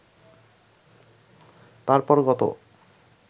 তারপর গত